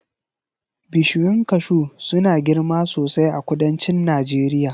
Bishiyun kashu suna girma sosai a kudancin Najeriya